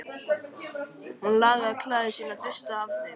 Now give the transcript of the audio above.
Hún lagaði klæði sín og dustaði af þeim.